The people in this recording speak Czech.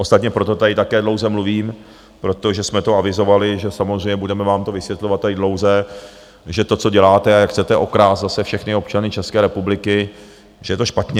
Ostatně proto tady také dlouze mluvím, protože jsme to avizovali, že samozřejmě budeme vám to vysvětlovat tady dlouze, že to, co děláte a jak chcete okrást zase všechny občany České republiky, že to je špatně.